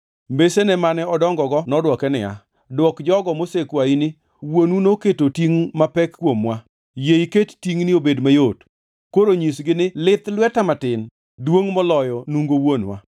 Mbesene mane odongogo nodwoke niya, “Dwok jogo mosekwayi ni, ‘Wuonu noketo tingʼ mapek kuomwa, yie iket tingʼni obed mayot.’ Koro nyisgi ni, ‘Lith lweta matin duongʼ moloyo nungo wuonwa.